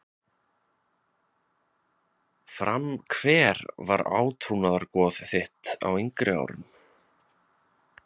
Fram Hver var átrúnaðargoð þitt á yngri árum?